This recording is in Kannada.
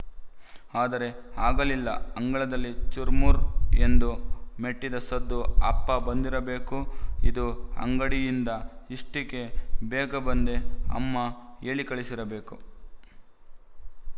ಆದರೆ ಆಗಲಿಲ್ಲ ಅಂಗಳದಲ್ಲಿ ಚುರ್ ಮುರ್ ಎಂದು ಮೆಟ್ಟಿದ ಸದ್ದು ಅಪ್ಪ ಬಂದಿರಬೇಕು ಇದು ಅಂಗಡಿಯಿಂದ ಇಷೆ್ಟೀಕೆ ಬೇಗ ಬಂದ ಅಮ್ಮ ಹೇಳಿಕಳಿಸಿರಬೇಕು